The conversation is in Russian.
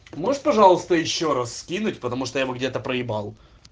можешь пожалуйста ещё раз скинуть потому что я его где-то проебал